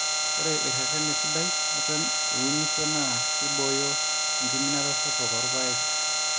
Ore erre`ren sidai eton iunisho naa keibooyo enkiminata sapuk oorr`paek